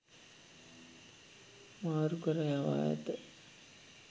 මාරුකර යවා ඇත.